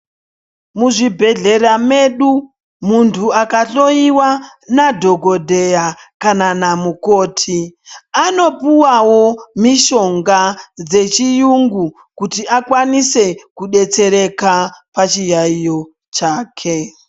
Muzvi bhedhlera medu muntu aka dhloyiwa na dhokoteya kana na mukoti anopuwawo mishonga dzechi yungu kuti akwanise kubetsereka pa chiyayiyo chake.